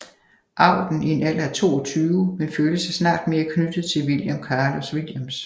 Auden i en alder af 22 men følte sig snart mere knyttet til William Carlos Williams